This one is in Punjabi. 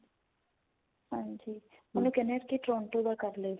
ਹਾਂਜੀ ਉਹਨੂੰ ਕਹਿਨੇ ਆ ਕੀ Toronto ਦਾ ਕਰਲੇ